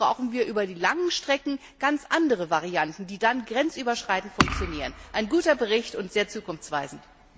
Natürlich brauchen wir über die langen Strecken ganz andere Varianten, die dann grenzüberschreitend funktionieren. Ein guter Bericht und sehr zukunftsweisend.